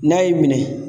N'a y'i minɛ